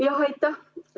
Aitäh!